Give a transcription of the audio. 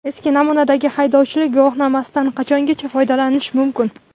Eski namunadagi haydovchilik guvohnomasidan qachongacha foydalanish mumkin?.